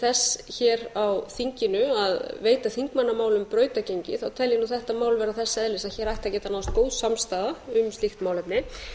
þess hér á þinginu að veita þingmannamálum brautargengi þá tel ég að þetta mál vera þess eðlis að hér ætti að geta náðst góð samstaða um slíkt málefni